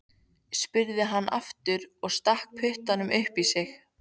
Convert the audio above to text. spurði hann aftur og stakk puttanum upp í sig.